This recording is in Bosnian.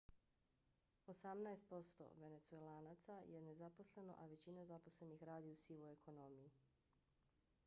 osamnaest posto venecuelanaca je nezaposleno a većina zaposlenih radi u sivoj ekonomiji